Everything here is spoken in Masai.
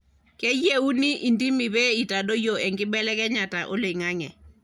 keyieuni indimi pe itadoyio enkibelekenyata oloingange